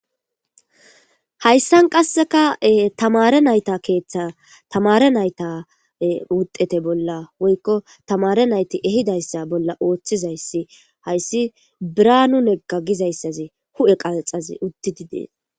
hayssan qasseka tamare nayta keeththe tamare nayta wudete bolla woykko tamare nayti ehidayssa bolla ooththizayssi hayssi biranu negga gizayssaze hu7e qaaxazi uddididees